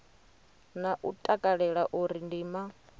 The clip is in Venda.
na u takalela uri ndima